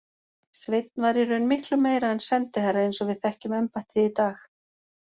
Sveinn var í raun miklu meira en sendiherra eins og við þekkjum embættið í dag.